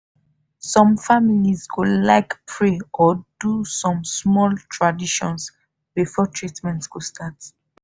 some families go like pray or do some small tradition before treatment go start.